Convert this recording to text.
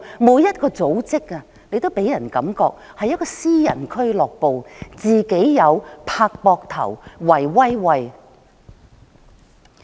每一個組織也讓人覺得是私人俱樂部，"自己友"、"拍膊頭"、"圍威喂"。